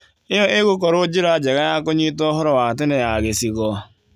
ĩyo ĩgũkorwo njĩra njega ya kũnyita úhoro wa tene ya gĩcigo.